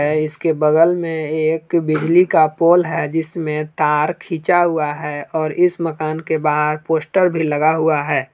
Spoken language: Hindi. है इसके बगल में एक बिजली का पोल है जिसमें तार खींचा हुआ है और इस मकान के बाहर पोस्टर भी लगा हुआ है।